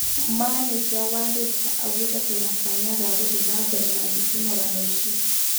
Maneja wa Reista augete," Twĩna kanya ga gũthie nambere na nditimũrano icĩ."